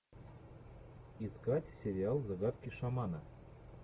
искать сериал загадки шамана